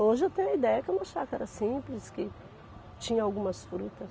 Hoje eu tenho a ideia que é uma chácara simples, que tinha algumas frutas.